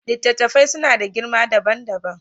Littattafai suna da girma dabam dabam.